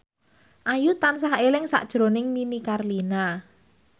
Ayu tansah eling sakjroning Nini Carlina